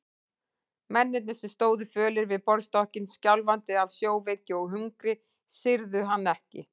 Mennirnir sem stóðu fölir við borðstokkinn, skjálfandi af sjóveiki og hungri, syrgðu hann ekki.